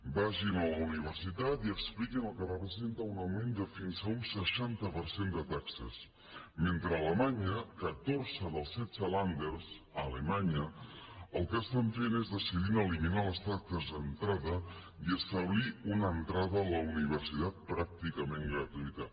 vagin a la universitat i expliquin el que representa un augment de fins a un seixanta per cent de taxes mentre a alemanya catorze dels setze länder a alemanya el que estan fent és decidint eliminar les taxes d’entrada i establir una entrada a la universitat pràcticament gratuïta